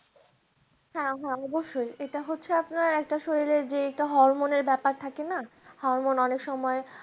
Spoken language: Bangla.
হ্যাঁ হ্যাঁ অবশ্যই। এটা হচ্ছে আপনার একটা শরীরের যে এটা হরমোনের ব্যাপার থাকে না হরমোন অনেক সময়